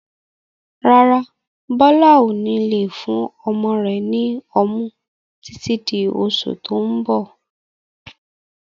Rárá, Bọlá ó ní lè fún ọmọ rẹ ni ọmú títí di oṣù tó ń bọ̀.